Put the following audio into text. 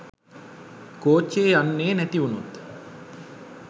කෝච්චිය යන්නේ නැතිවුණොත්